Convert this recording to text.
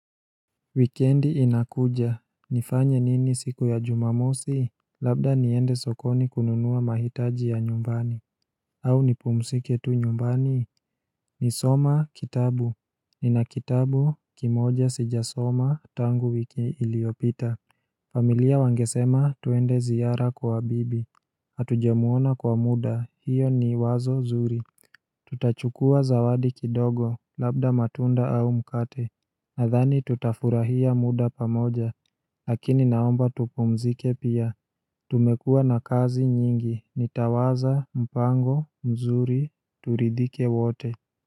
Wikendi inakuja, nifanye nini siku ya jumamosi? Labda niende sokoni kununua mahitaji ya nyumbani au nipumzike tu nyumbani Nilisoma kitabu nina kitabu kimoja sijasoma tangu wiki iliopita familia wangesema tuende ziara kwa bibi Hatujamuona kwa muda hiyo ni wazo nzuri Tutachukua zawadi kidogo labda matunda au mkate Nadhani tutafurahia muda pamoja, lakini naomba tupumzike pia, tumekua na kazi nyingi, nitawaza, mpango, mzuri, turidhike wote.